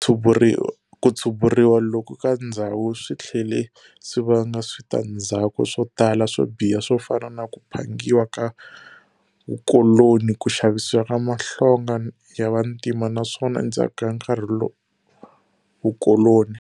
Ku tshuburiwa loku ka ndzhawu switlhele swivanga switandzhaku swotala swo biha swofana na ku phangiwa ka vukoloni, ku xavisiwa ka mahlonga ya vantima naswona endzhaku ka nkarhi vukoloni.